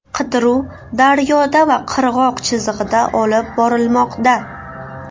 Qidiruv daryoda va qirg‘oq chizig‘ida olib borilmoqda.